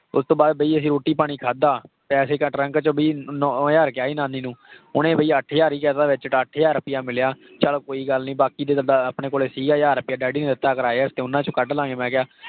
ਉਹ ਤੋਂ ਬਾਅਦ ਵੀ ਅਸੀਂ ਰੋਟੀ ਪਾਣੀ ਖਾਧਾ ਪੈਸੇ ਨੋਂ ਹਜ਼ਾਰ ਕਿਹਾ ਸੀ ਨਾਨੀ ਨੂੰ ਉਹਨੇ ਵੀ ਅੱਠ ਹਜ਼ਾਰ ਹੀ ਕਹਿ ਦਿੱਤਾ ਵਿੱਚ ਤਾਂ ਅੱਠ ਹਜ਼ਾਰ ਰੁਪਇਆ ਮਿਲਿਆ, ਚੱਲ ਕੋਈ ਗੱਲ ਨੀ ਬਾਕੀ ਆਪਣੇ ਕੋਲ ਸੀ ਹਜ਼ਾਰ ਰੁਪਇਆ ਡੈਡੀ ਨੇ ਦਿੱਤਾ ਕਿਰਾਏ ਵਾਸਤੇ ਉਹਨਾਂ ਚੋਂ ਕੱਢ ਲਵਾਂਗੇ ਮੈਂ ਕਿਹਾ।